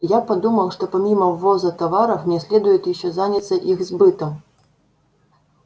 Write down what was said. я подумал что помимо ввоза товаров мне следует ещё заняться их сбытом